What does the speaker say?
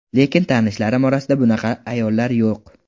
Lekin tanishlarim orasida bunaqa ayollar yo‘q.